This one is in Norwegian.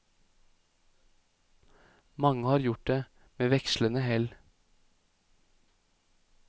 Mange har gjort det, med vekslande hell.